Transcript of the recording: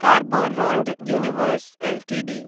कार्बोरुण्ड् Universal Ltd